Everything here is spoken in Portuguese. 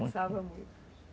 Dançava muito?